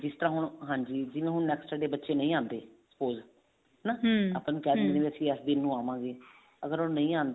ਜਿਸ ਤਰ੍ਹਾਂ ਹੁਣ ਹਾਂਜੀ ਜਿਵੇਂ ਹੁਣ next day ਬੱਚੇ ਨਹੀਂ ਆਉਂਦੇ suppose ਹਨਾ ਇਸ ਦਿਨ ਨੂੰ ਆਵਾਂਗੇ ਅਗਰ ਉਹ ਨਹੀਂ ਆਂਦੇ